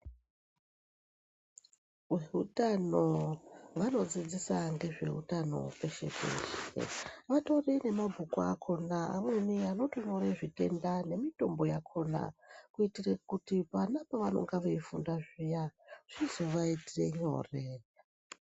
Veutano vanodzidzisa nezveutano peshe -peshe. Vatori nemabhuku akona amweni anotonyore zvitenda nemitombo yakona kuitire kuti vana pavanenge veifunda paya zvizovaitire nyore.